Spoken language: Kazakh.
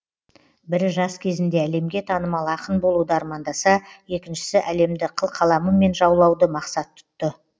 бірі жас кезінде әлемге танымал ақын болуды армандаса екіншісі әлемді қылқаламымен жаулауды мақсат тұтты